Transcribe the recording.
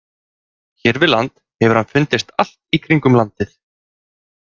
Hér við land hefur hann fundist allt í kringum landið.